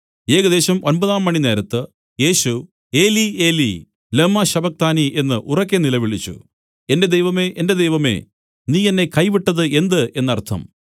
ഏകദേശം ഒമ്പതാംമണി നേരത്ത് യേശു ഏലീ ഏലീ ലമ്മാ ശബക്താനി എന്നു ഉറക്കെ നിലവിളിച്ചു എന്റെ ദൈവമേ എന്റെ ദൈവമേ നീ എന്നെ കൈവിട്ടത് എന്ത് എന്നർത്ഥം